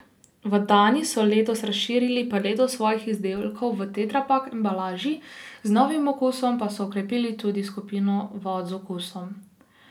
V Dani so letos razširili paleto svojih izdelkov v tetrapak embalaži, z novim okusom pa so okrepili tudi skupino vod z okusom.